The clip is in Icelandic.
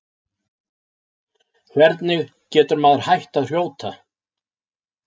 Hvernig getur maður hætt að hrjóta?